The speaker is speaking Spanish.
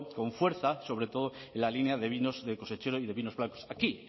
con fuerza sobre todo en la línea de vinos de cosechero y de vinos blancos aquí